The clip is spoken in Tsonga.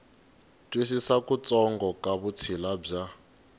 twisisa kutsongo ka vutshila bya